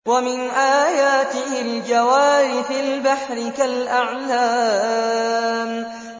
وَمِنْ آيَاتِهِ الْجَوَارِ فِي الْبَحْرِ كَالْأَعْلَامِ